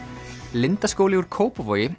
Lindaskóli úr Kópavogi